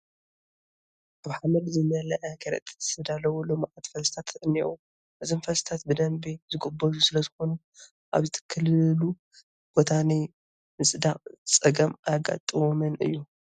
ኣብ ሓመድ ዝመልአ ከረጢት ዝተዳለዉ ልሙዓት ፈልስታት እኔዉ፡፡ እዞም ፈልስታት ብደንቢ ዝጐበዙ ስለዝኾኑ ኣብ ዝትከልሉ ቦታ ናይ ምፅዳቕ ፀገም ኣየጋጥሞምን እዩ፡፡